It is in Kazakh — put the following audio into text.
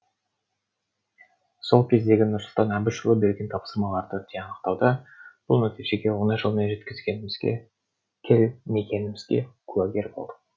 сол кездегі нұрсұлтан әбішұлы берген тапсырмаларды тиянақтауда бұл нәтижеге оңай жолмен келмегенімізге куәгер болдық